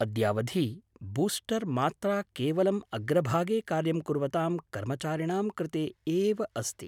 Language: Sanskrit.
अद्यावधि बूस्टर् मात्रा केवलम् अग्रभागे कार्यं कुर्वतां कर्मचारिणां कृते एव अस्ति।